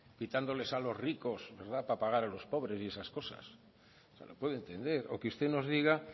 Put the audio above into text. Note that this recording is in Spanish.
quitándoles a los ricos para pagar a los pobres y esas cosas pues lo puedo entender o que usted nos diga